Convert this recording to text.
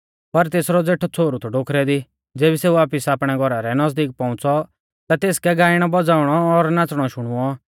पर तेसरौ ज़ेठौ छ़ोहरु थौ डोखरै दी ज़ेबी सेऊ वापिस आपणै घौरा रै नज़दीक पौउंच़ौ ता तेसकै गाइणौ बज़ाउणौ और नाच़णौ शुणुऔ